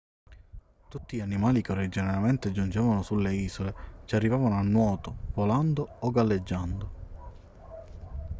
tutti gli animali che originariamente giungevano sulle isole ci arrivavano a nuoto volando o galleggiando